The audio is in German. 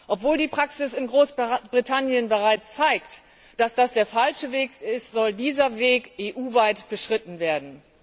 Obwohl die Praxis in Großbritannien bereits zeigt, dass das der falsche Weg ist, soll dieser Weg EU weit beschritten werden.